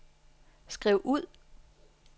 skriv ud